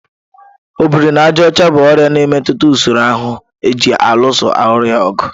Ọ biri na àjà ọcha bụ ọrịa na-emetụta usoro ahụ ji alụso ọrịa ọgụ.